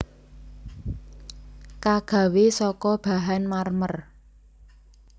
Kagawé saka bahan marmer